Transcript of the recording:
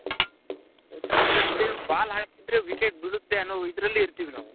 ಹೋದಂಗಿರುತ್ತೆ ball ಹಾಕಿದ್ರೆ wicket ಬಿಳುತ್ತೆ ಅನ್ನೋ ಇದ್ರಲ್ಲಿ ಇರ್ತಿವಿ ನಾವು .